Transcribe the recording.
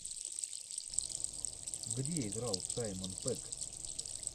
где играл саймон пэк